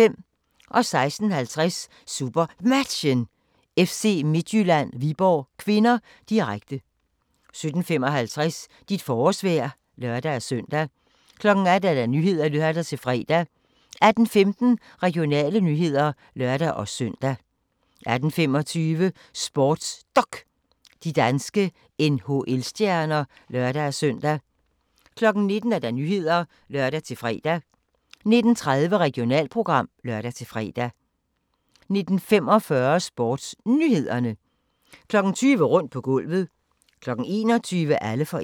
16:50: SuperMatchen: FC Midtjylland-Viborg (k), direkte 17:55: Dit forårsvejr (lør-søn) 18:00: Nyhederne (lør-fre) 18:15: Regionale nyheder (lør-søn) 18:25: SportsDok: De danske NHL-stjerner (lør-søn) 19:00: Nyhederne (lør-fre) 19:30: Regionalprogram (lør-fre) 19:45: SportsNyhederne 20:00: Rundt på gulvet 21:00: Alle for én